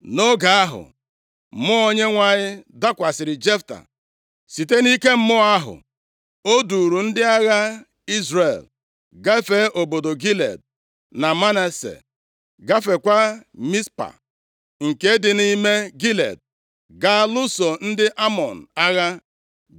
Nʼoge ahụ, mmụọ Onyenwe anyị dakwasịrị Jefta. Site nʼike mmụọ ahụ, o duuru ndị agha Izrel gafee obodo Gilead na Manase, gafeekwa Mizpa, nke dị nʼime Gilead, gaa lụso ndị Amọn agha.